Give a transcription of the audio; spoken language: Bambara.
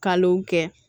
Kalo kɛ